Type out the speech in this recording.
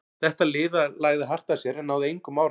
Þetta lið lagði hart að sér en náði engum árangri.